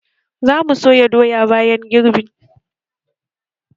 Za mu soya doya bayan girbin